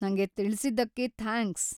ನಂಗೆ ತಿಳ್ಸಿದ್ದಕ್ಕೆ ಥ್ಯಾಂಕ್ಸ್.